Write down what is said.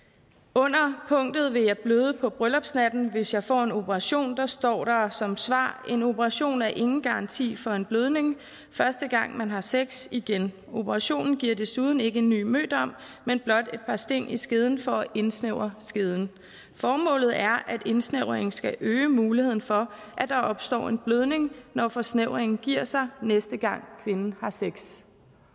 under punktet vil jeg bløde på bryllupsnatten hvis jeg får en operation står der som svar en operation er ingen garanti for en blødning første gang man har sex igen operationen giver desuden ikke en ny mødom men blot et par sting i skeden for at indsnævre skeden formålet er at indsnævringen skal øge muligheden for at der opstår en blødning når forsnævringen giver sig næste gang kvinden har sex